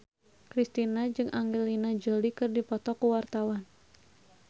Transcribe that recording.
Kristina jeung Angelina Jolie keur dipoto ku wartawan